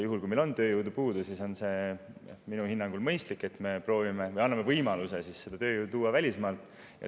Juhul, kui meil on tööjõudu puudu, siis minu hinnangul on mõistlik, et me anname võimaluse seda tööjõudu tuua välismaalt.